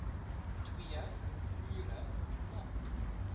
twee ure lank